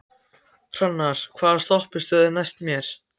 Hrannar, hvaða stoppistöð er næst mér?